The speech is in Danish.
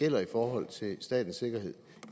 gælder i forhold til statens sikkerhed